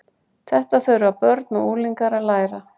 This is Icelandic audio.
Þetta þurfa börn og unglingar að læra.